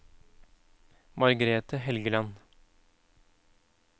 Margrete Helgeland